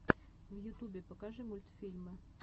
в ютубе покажи мультфильмы